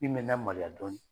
Min bɛ n lamaloya dɔɔnin.